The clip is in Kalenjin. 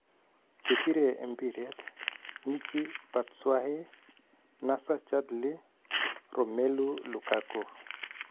Chebiree mbireet :Michy Batshuayi , Nacer Chadli , Romelu Lukaku